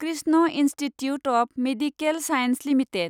Krishna Institute of Medical Science limited